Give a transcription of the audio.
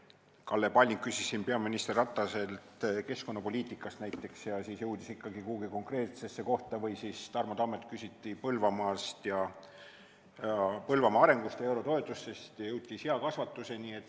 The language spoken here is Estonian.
Kalle Palling küsis peaminister Rataselt keskkonnapoliitika kohta ja siis jõudis välja ikkagi kuhugi konkreetsesse kohta või siis Tarmo Tammelt küsiti Põlvamaa arengu ja eurotoetuste kohta ning jõuti seakasvatuseni.